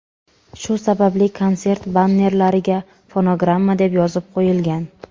Shu sababli konsert bannerlariga fonogramma deb yozib qo‘yilgan.